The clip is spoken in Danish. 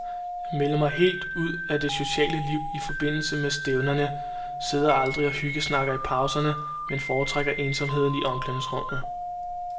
Jeg melder mig helt ud af det sociale liv i forbindelse med stævnerne, sidder aldrig og hyggesnakker i pauserne, men foretrækker ensomheden i omklædningsrummet.